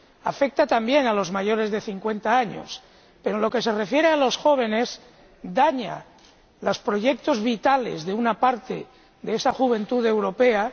Afecta también a los mayores de cincuenta años, pero, en lo que se refiere a los jóvenes, daña los proyectos vitales de una parte de esa juventud europea.